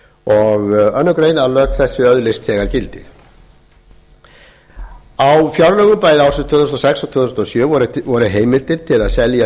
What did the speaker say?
og aðra grein að lög þessi öðlist þegar gildi á fjárlögum bæði ársins tvö þúsund og sex og tvö þúsund og sjö voru heimildir til að selja